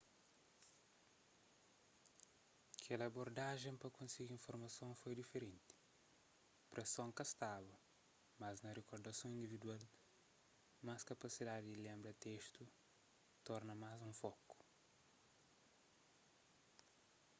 kel abordajen pa konsigi informason foi diferenti preson ka staba mas na rikordason individual mas kapasidadi di lenbra di testu torna más un foku